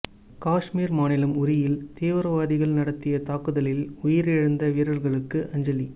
காஷ்மீர் மாநிலம் உரியில் தீவிரவாதிகள் நடத்திய தாக்குதலில் உயிரிழந்த வீரர்களுக்கு அஞ்சலி